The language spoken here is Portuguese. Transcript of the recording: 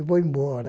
Eu vou embora.